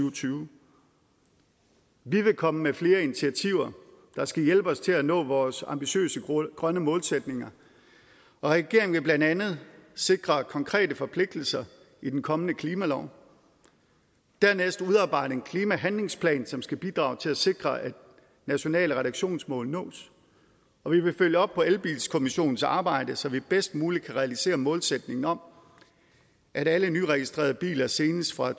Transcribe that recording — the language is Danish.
og tyve vi vil komme med flere initiativer der skal hjælpe os til at nå vores ambitiøse grønne målsætninger regeringen vil blandt andet sikre konkrete forpligtelser i den kommende klimalov dernæst udarbejde en klimahandlingsplan som skal bidrage til at sikre at nationale reduktionsmål nås og vi vil følge op på elbilkommissionens arbejde så vi bedst muligt kan realisere målsætningen om at alle nyregistrerede biler senest fra